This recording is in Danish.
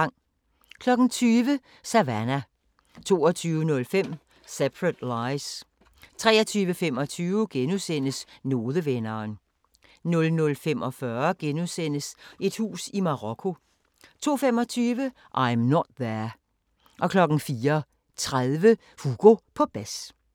20:00: Savannah 22:05: Separate Lies 23:25: Nodevenderen * 00:45: Et hus i Marokko * 02:25: I'm Not There 04:30: Hugo på bas